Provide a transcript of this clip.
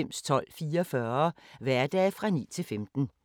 Lørdag d. 29. juli 2017